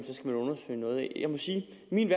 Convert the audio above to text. min